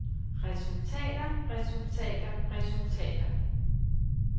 resultater resultater resultater